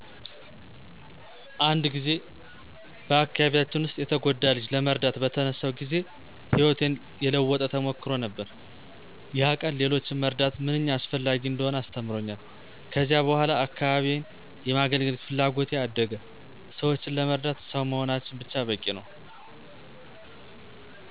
አንድ ጊዜ በአካባቢያችን ውስጥ የተጎዳ ልጅ ለመርዳት በተነሳሁ ጊዜ ሕይወቴን የለወጠ ተሞክሮ ነበር። ያ ቀን ሌሎችን መርዳት ምንኛ አስፈላጊ እንደሆነ አስተምሮኛል። ከዚያ በኋላ አካባቢዬን የማገለገል ፍላጎቴ አደገ። ሰዎችን ለመርዳት ሰው መሆናችን ብቻ በቂ ነው።